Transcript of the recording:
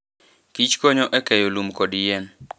kich konyo e keyo lum kod yien.